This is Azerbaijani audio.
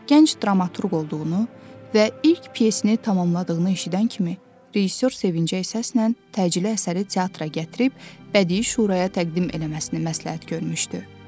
Gənc dramaturq olduğunu və ilk pyesini tamamladığını eşidən kimi rejissor sevincəklə təcili əsəri teatra gətirib bədii şuraya təqdim eləməsini məsləhət görmüşdü.